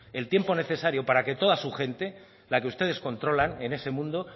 el tiempo necesario para que toda su gente la que ustedes controlan en ese mundo